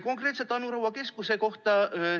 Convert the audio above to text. Konkreetselt Anu Raua keskuse kohta.